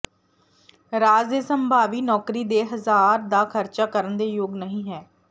ਰਾਜ ਦੇ ਸੰਭਾਵੀ ਨੌਕਰੀ ਦੇ ਹਜ਼ਾਰ ਦਾ ਖ਼ਰਚਾ ਕਰਨ ਦੇ ਯੋਗ ਨਹੀ ਹੈ